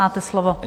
Máte slovo.